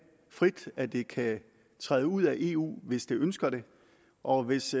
frit at det kan træde ud af eu hvis det ønsker det og hvis